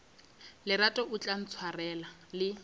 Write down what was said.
lerato o tla ntshwarela le